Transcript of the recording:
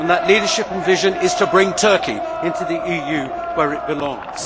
That leadership and vision is to bring Turkey into the EU, where it belongs.